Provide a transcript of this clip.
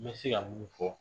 N bɛ se ka mun fɔ.